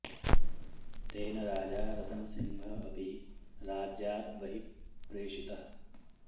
तेन राजा रतन सिंह अपि राज्यात् बहिः प्रेषितः